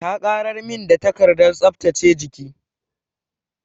Ta ƙarar min da takardar tsaftace jiki.